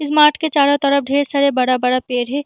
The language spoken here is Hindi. इस मार्ट के चारो तरफ ढेर सारा बड़ा-बड़ा पेड़ है।